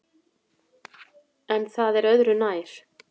En það er öðru nær.